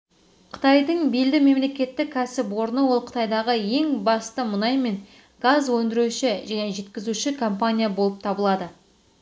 қытайдың белді мемлекеттік кәсіпорны ол қытайдағы ең басты мұнай мен газ өндіруші және жеткізуші компания болып табылады